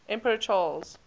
emperor charles